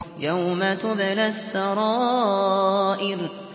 يَوْمَ تُبْلَى السَّرَائِرُ